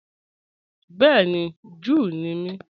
Bẹẹ̀ni, Júù ní mí.